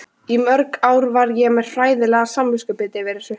Í mörg ár var ég með hræðilegt samviskubit yfir þessu.